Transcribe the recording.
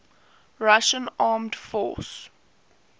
russian armed forces